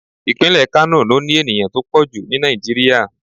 Ìpínlẹ̀ Kánò ló ní ènìyàn tó pọ̀ jù ni Nigeria.